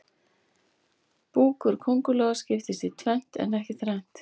Búkur kóngulóa skiptist í tvennt en ekki þrennt.